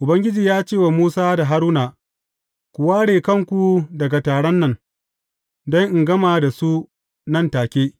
Ubangiji ya ce wa Musa da Haruna, Ku ware kanku daga taron nan don in gama da su nan take.